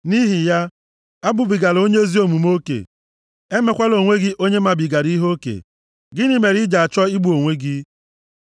Nʼihi ya, abụbigala onye ezi omume oke, emekwala onwe gị onye mabigara ihe oke. Gịnị mere i ji achọ igbu onwe gị?